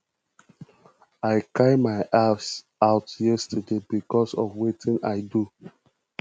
i cry my eyes out yesterday because of wetin i do